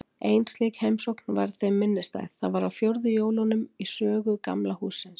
Ein slík heimsókn varð þeim minnisstæð: Það var á fjórðu jólunum í sögu Gamla hússins.